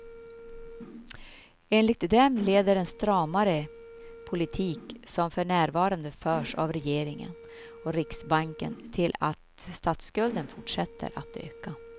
Enligt dem leder den stramare politik som för närvarande förs av regeringen och riksbanken till att statsskulden fortsätter att öka.